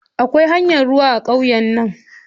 Akwai hanyar ruwa a ƙauye na.